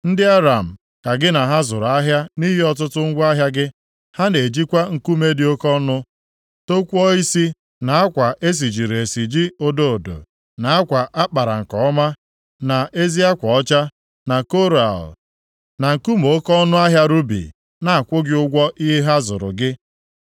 “ ‘Ndị Aram ka gị na ha zụrụ ahịa nʼihi ọtụtụ ngwa ahịa gị. Ha na-ejikwa nkume dị oke ọnụ tọkwọisi na akwa e sijiri esiji odo odo, na akwa a kpara nke ọma, na ezi akwa ọcha, na koral, na nkume oke ọnụahịa rubi na-akwụ gị ụgwọ ihe ha zụrụ gị.